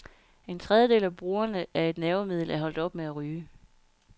En tredjedel af brugerne af et nervemiddel er holdt op med at ryge.